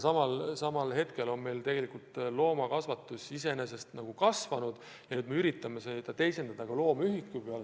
Loomakasvatus iseenesest on meil kasvanud ja nüüd me üritame seda näitajat teisendada loomühiku peale.